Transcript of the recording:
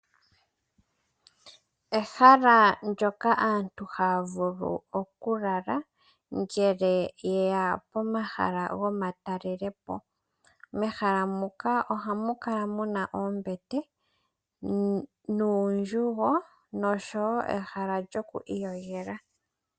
Ehala ndyoka aantu haya vulu okulala , ngele yeya pomahala gomatalelepo . Mehala muka ohamu kala muna oombete nuundjugo oshowoo ehala lyokwiiyogela.